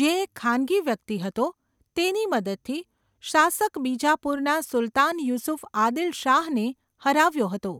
જે એક ખાનગી વ્યક્તિ હતો, તેની મદદથી શાસક બીજાપુરના સુલતાન યુસુફ આદિલ શાહને હરાવ્યો હતો.